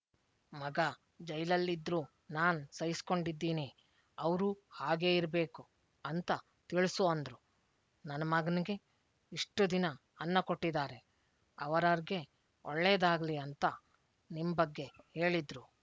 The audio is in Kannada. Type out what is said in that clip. ಮಗ ಜೈಲಲ್ಲಿದ್ರೂ ನಾನ್ ಸಹಿಸ್ಕೊಂಡಿದ್ದೀನಿ ಅವ್ರೂ ಹಾಗೇ ಇರ್ಬೇಕು ಅಂತ ತಿಳ್ಸು ಅಂದ್ರು ನನ್ ಮಗನ್ಗೆ ಇಷ್ಟು ದಿನ ಅನ್ನ ಕೊಟ್ಟಿದಾರೆ ಅವರಾರ್ಗೆ ಒಳ್ಳೇದಾಗ್ಲಿ ಅಂತ ನಿಮ್ ಬಗ್ಗೆ ಹೇಳಿದ್ರು